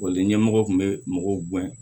ɲɛmɔgɔ kun bɛ mɔgɔw bɔn